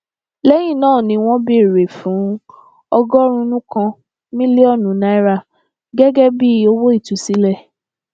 lẹyìn náà ni wọn béèrè fún ọgọrùnún kan mílíọnù náírà gẹgẹ bíi owó ìtúsílẹ